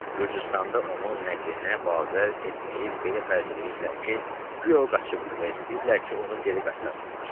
Gürcüstanda onun nəqlinə bavər etməyib belə fərz eləyirdilər ki, güya o qaçıbdır və istəyirdilər ki, onu geri qaytarsınlar.